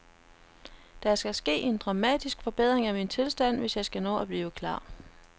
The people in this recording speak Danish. Der skal ske en dramatisk forbedring af min tilstand, hvis jeg skal nå at blive klar.